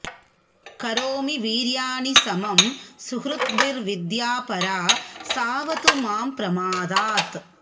करोमि वीर्याणि समं सुहृद्भिर्विद्या परा साऽवतु मां प्रमादात्